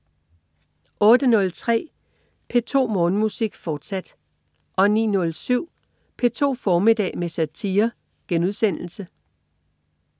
08.03 P2 Morgenmusik, fortsat 09.07 P2 formiddag med satire*